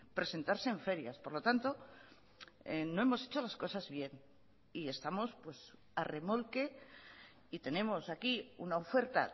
presentarse en ferias por lo tanto no hemos hecho las cosas bien y estamos pues a remolque y tenemos aquí una oferta